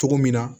Cogo min na